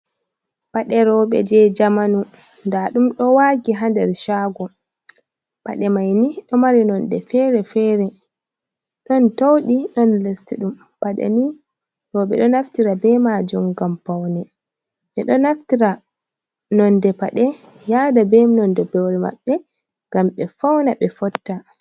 "Paɗe roɓe" je jamanu nda ɗum do wagi ha nder shago paɗe mai ni ɗo mari nonde fere fere ɗon tauɗi don lestuɗum paɗe mai ni roɓe do naftira be majum ngam paune ɓe do naftira nonde paɗe yada be nonde boro maɓɓe ngam ɓe fauna ɓe fotta.